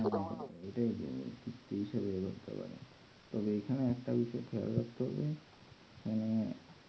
যদি সে হিসেবে এরকম দিতে পারবে তবে এখানে একটা বিষয়ের খেয়াল রাখতে হবে হম